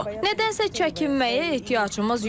Nədənsə çəkinməyə ehtiyacımız yoxdur.